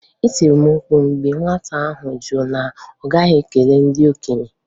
E tiri m mkpu mgbe nwata ahụ jụ na ọ gaghị ekele ndị okenye.